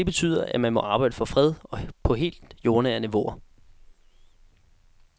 Det betyder, at man må arbejde for fred på helt jordnære niveauer.